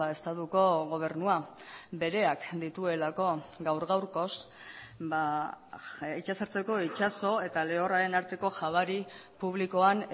estatuko gobernua bereak dituelako gaur gaurkoz itsasertzeko itsaso eta lehorraren arteko jabari publikoan